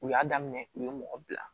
U y'a daminɛ u ye mɔgɔ bila